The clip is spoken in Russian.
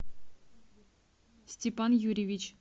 степан юрьевич